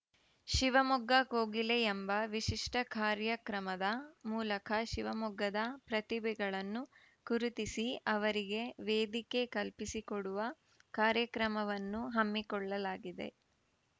ಶಿವಮೊಗ್ಗ ಕೋಗಿಲೆ ಎಂಬ ವಿಶಿಷ್ಟಕಾರ್ಯಕ್ರಮದ ಮೂಲಕ ಶಿವಮೊಗ್ಗದ ಪ್ರತಿಭೆಗಳನ್ನು ಗುರುತಿಸಿ ಅವರಿಗೆ ವೇದಿಕೆ ಕಲ್ಪಿಸಿಕೊಡುವ ಕಾರ್ಯಕ್ರಮವನ್ನು ಹಮ್ಮಿಕೊಳ್ಳಲಾಗಿದೆ